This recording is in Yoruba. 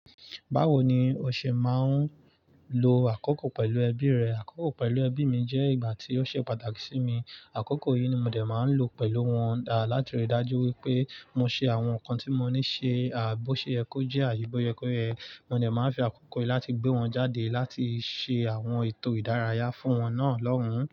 Báwo ni ọ̀ṣẹ̀ máa ń lo àkọ́kọ́ pẹ̀lú ẹbí rẹ? Àkọ́kọ́ pẹ̀lú ẹbí mi jẹ́ ìgbà tí ó ṣe pàtàkì sí mi. Àkọ́kọ́ yìí ni mo dé máa ń lò pẹ̀lú wọn, láti rí i dájú wípé mo ṣe àwọn nǹkan tí mo ní ṣe, bó ṣe yẹ ko jẹ́ àti bó se yẹ, mo dé máa ń fi àkọ́kọ́ yìí láti gbé wọn jáde láti ṣe àwọn ètò ìdárayá fún wọn náà lọ́hùn-ún.